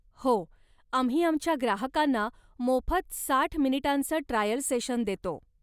हो, आम्ही आमच्या ग्राहकांना मोफत साठ मिनिटांचं ट्रायल सेशन देतो.